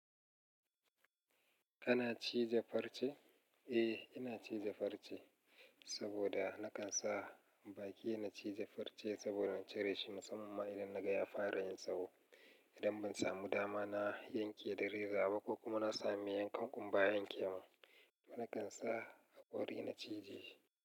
Kana cije farce? Eh, ina cije farce saboda na kan sa baki na cije farce saboda in cire shi musamman ma idan na ga ya fara yin tsawo. Idan ban samu dama na yanke da reza ba ko kuma na samu me yankan ƙumba yanke mun, na kan sa haƙori na cije.